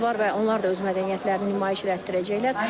Və onlar da öz mədəniyyətlərini nümayiş etdirəcəklər.